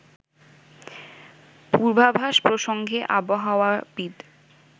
পূর্বাভাস প্রসঙ্গে আবাহাওয়াবিদ